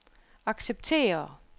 acceptere